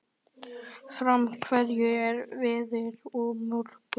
Fránn, hvernig er veðrið á morgun?